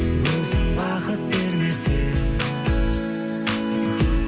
өзің бақыт бермесең